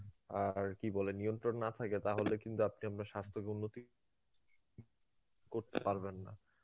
আরকি বলে, নিয়ন্ত্রণ না থাকে তাহলে কিন্তু আপনি আপনার স্বাস্থকে উন্নতি করতে পারবেন না.